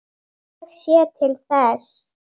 Ég sé til þess.